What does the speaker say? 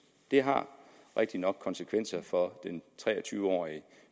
det har rigtig nok konsekvenser for den tre og tyve årige